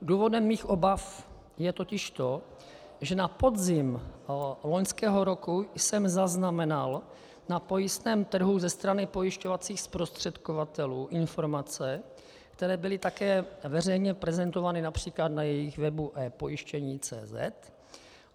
Důvodem mých obav je totiž to, že na podzim loňského roku jsem zaznamenal na pojistném trhu ze strany pojišťovacích zprostředkovatelů informace, které byly také veřejně prezentovány například na jejich webu ePojištění.